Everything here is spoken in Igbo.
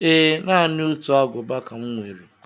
Ee. Naanị otu Agụba ka m nwere